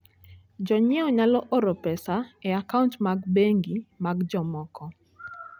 Jonyiewo nyalo oro pesa e akaunt mag bengi mag jomoko.